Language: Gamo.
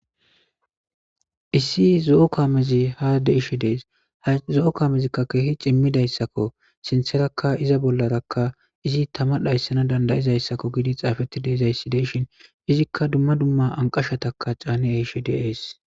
Issi zo'o kaamezi ha deishe dees ha zo'o kaamezikka keehi cimmidayssakko sintherakka iza bollarakka izi tama dhayssana dandayizayssakko giidi xaafeti deeizay si deishin izikka dumma dumma anqashataka caani eishi deees.